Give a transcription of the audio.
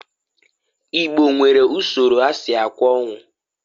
Igbo nwere usoro ha si akwa onwu.